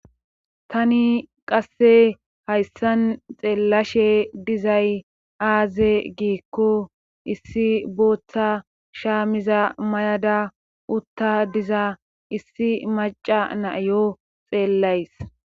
Tani qasse hayssan xeellashe dizay aaze giikko issi booththa shaamiza mayada utta diza issi maca naiyo xeellays